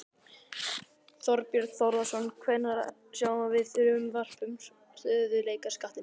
Þorbjörn Þórðarson: Hvenær sjáum við frumvarp um stöðugleikaskattinn?